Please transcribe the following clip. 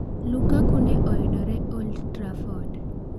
Lukaku ne oyudore Old Trafford.